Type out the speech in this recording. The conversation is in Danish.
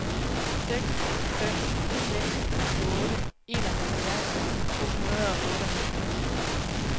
seks fem seks otte enoghalvfjerds to hundrede og otteoghalvfjerds